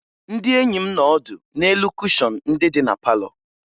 Ndị enyi m nọ ọdụ n'elu kushọn ndị dị na palọ